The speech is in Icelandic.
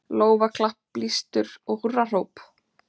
Lófaklapp, blístur og húrrahróp.